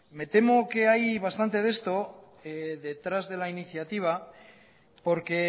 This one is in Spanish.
me temo que hay bastante de esto detrás de la iniciativa porque